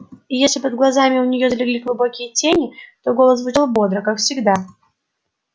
и если под глазами у нее залегли глубокие тени то голос звучал бодро как всегда